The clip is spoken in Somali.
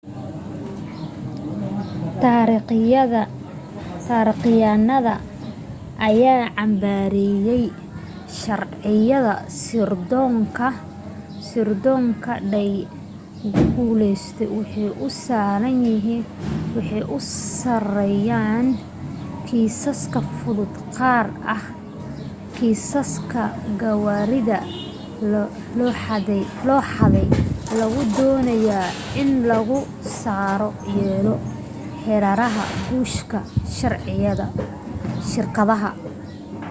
taarikhyahanada ayaa cambaareeyey sharciyada fbi-da ay culeyska ku saarayaan kiisaska fudud gaar ahaam kiisaska gawaarida la xadey oo lagu doonayo in lagu sare yeelo heeraha guusha shirkadda